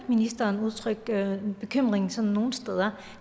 ministeren udtrykke en bekymring sådan nogen steder